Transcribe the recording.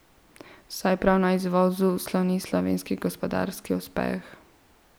Saj prav na izvozu sloni slovenski gospodarski uspeh.